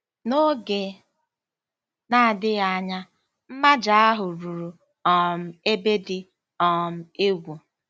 N'oge na-adịghị anya, mmaja ahụ ruru um ebe dị um egwu.